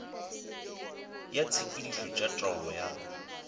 ya ditshepetšo tša taolo ya